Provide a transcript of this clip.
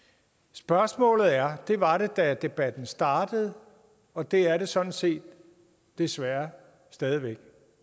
spørgsmålet er det var det da debatten startede og det er det sådan set desværre stadig væk